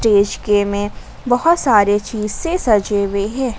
में बहुत सारे चीज से सजे हुए हैं।